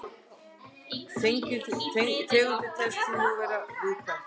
Tegundin telst því nú vera viðkvæm.